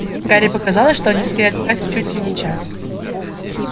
гарри показалось что они стояли так чуть ли не час